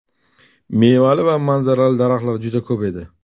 Mevali va manzaralari daraxtlar juda ko‘p edi.